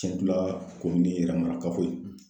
n ka kundi yɛrɛmana kafo ye